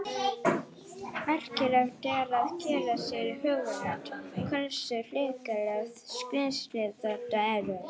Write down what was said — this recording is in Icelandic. Merkilegt er að gera sér í hugarlund hversu hrikaleg skrímsli þetta eru.